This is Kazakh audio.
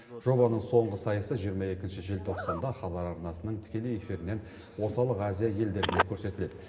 жобаның соңғы сайысы жиырма екінші желтоқсанда хабар арнасының тікелей эфирінен орталық азия елдеріне көрсетіледі